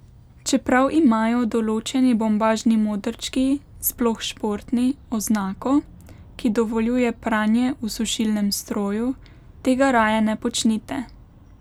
Čeprav imajo določeni bombažni modrčki, sploh športni, oznako, ki dovoljuje pranje v sušilnem stroju, tega raje ne počnite.